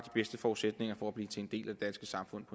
bedste forudsætninger for at blive en del af det danske samfund